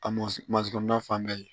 A masɔnna fan bɛɛ